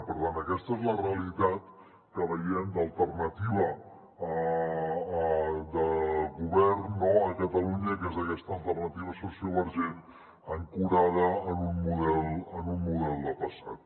per tant aquesta és la realitat que veiem d’alternativa de govern a catalunya que és aquesta alternativa sociovergent ancorada en un model de passat